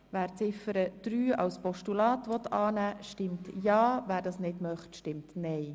Wer die Ziffer 3 annimmt, stimmt Ja, wer sie ablehnt, stimmt Nein.